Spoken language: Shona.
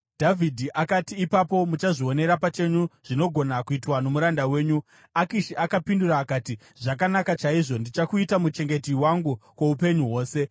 Dhavhidhi akati, “Ipapo muchazvionera pachenyu zvinogona kuitwa nomuranda wenyu.” Akishi akapindura akati, “Zvakanaka chaizvo, ndichakuita muchengeti wangu kwoupenyu hwose.”